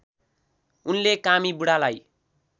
उनले कामी बुढालाई